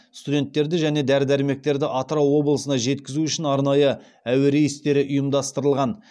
студенттерді және дәрі дәрмектерді атырау облысына жеткізу үшін арнайы әуе рейстері ұйымдастырылған